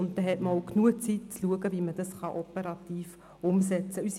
Dann hat man auch genügend Zeit zu schauen, wie man das operativ umsetzen kann.